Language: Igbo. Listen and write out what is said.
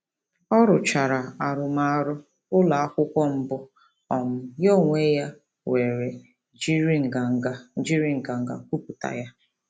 Ọ rụchara arụmarụ ụlọakwụkwọ mbụ um ya n'onwe ya were jiri nganga jiri nganga kwupụta ya.